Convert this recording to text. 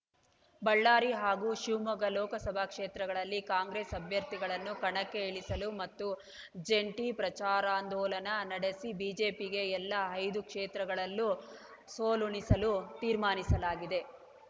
ಬಳ್ಳಾರಿ ಹಾಗೂ ಶಿವಮೊಗ್ಗ ಲೋಕಸಭಾ ಕ್ಷೇತ್ರಗಳಲ್ಲಿ ಕಾಂಗ್ರೆಸ್‌ ಅಭ್ಯರ್ಥಿಗಳನ್ನು ಕಣಕ್ಕೆ ಇಳಿಸಲು ಮತ್ತು ಜಂಟಿ ಪ್ರಚಾರಾಂದೋಲನ ನಡೆಸಿ ಬಿಜೆಪಿಗೆ ಎಲ್ಲಾ ಐದು ಕ್ಷೇತ್ರಗಳಲ್ಲೂ ಸೋಲುಣಿಸಲು ತೀರ್ಮಾನಿಸಲಾಗಿದೆ